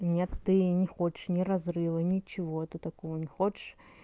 нет ты не хочешь не разрыва ничего ты такого не хочешь